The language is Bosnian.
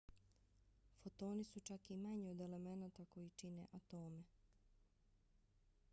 fotoni su čak i manji od elemenata koji čine atome!